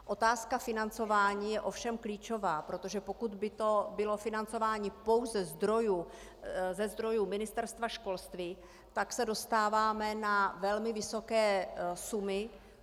Otázka financování je ovšem klíčová, protože pokud by to bylo financování pouze ze zdrojů Ministerstva školství, tak se dostáváme na velmi vysoké sumy.